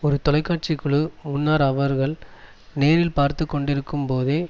ஒரு தொலைக்காட்சி குழு முன்னர் அவர்கள் நேரில் பார்த்துகொண்டிருக்கும்போதே